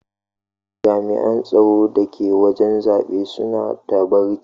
Jami'an tsaro da ke wajen zabe suna ta barci.